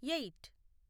eight